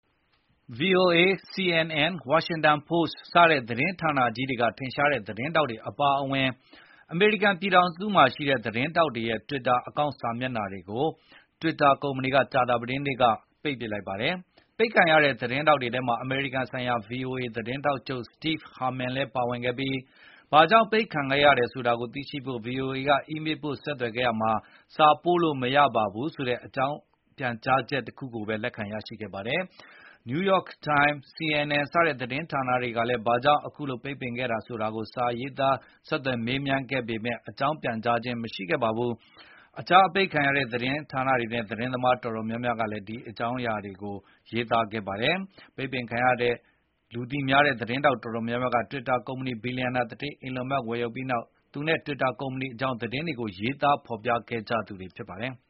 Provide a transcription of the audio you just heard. VOA၊ CNN၊ Washington Post စတဲ့သတင်းဌာနကြီးတွေက ထင်ရှားတဲ့သတင်းထောက်တွေအပါအဝင် အမေရိကန်ပြည်ထောင်စုမှာရှိတဲ့ သတင်းထောက်တွေရဲ့ Twitter အကောင့်စာမျက်နှာတွေကို Twitter ကကြာသပတေးနေ့က ပိတ်လိုက်ပါတယ်။ ပိတ်ခံရတဲ့သတင်းထောက်တွေထဲမှာ အမေရိကန်ဆိုင်ရာ VOA သတင်းထောက်ချုပ် Steve Herman လည်းပါဝင်ခဲ့ပြီး ဘာကြောင့်ပိတ်ပင်ခဲ့တယ်ဆိုတာကို VOA က အီးမေးပို့ဆက်သွယ်ခဲ့ရာမှာ “စာပို့လို့မရပါဆိုတဲ့” အကြောင်း ပြန်ကြားချက်ကိုပဲ လက်ခံရရှိခဲ့ပါတယ်။ New York Time၊ CNN စတဲ့သတင်းဌာနတွေကလည်း ဘာကြောင့် အခုလိုပိတ်ပင်ခဲ့တယ်ဆိုတာကိုစာရေးသား ဆက်သွယ်မေးမြန်းခဲ့ပေမယ့်လည်း အကြောင်းပြန်ကြားခြင်းရှိပါဘူး။ အပိတ်ခံရတဲ့ သတင်းသမားအတော်များများနဲ့ သတင်းဌာနအတော်များများက အကောင့်တွေအပိတ်ခံရကြောင်း သတင်းတွေရေးသား ဖေါ်ပြကြပါတယ်။ ပိတ်ပင်ခံရတဲ့ထဲက လူသိများတဲ့ သတင်းသမားတော်တော်များများက Twitter ကုမ္ပဏီကို ဘီလျံနာသူဌေး Elon Musk ဝယ်ယူလိုက်ပြီးနောက် သူနဲ့ Twitter ကုမ္ပဏီအကြောင်း သတင်းတွေကို ရေးသားဖော်ပြခဲ့ကြသူတွေဖြစ်ပါတယ်။